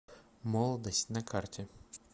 молодость на карте